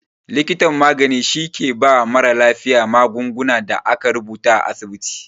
Likitan magani shi ke ba mara lafiya magungunan da aka rubuta a asibiti